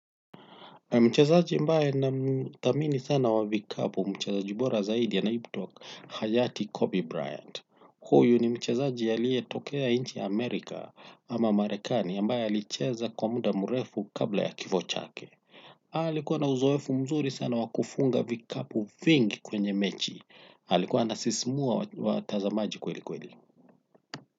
Mchazaji ambaye nathamini sana wa vikapu mchazaji bora zaidi anaitwa Hayati Kobe Bryant. Huyu ni mchazaji aliyetokea nchi ya Amerika ama Marekani ambaye alicheza kwa muda mrefu kabla ya kifo chake. Alikuwa na uzoefu mzuri sana wa kufunga vikapu vingi kwenye mechi. Alikuwa anasisimua watazamaji kweli kweli.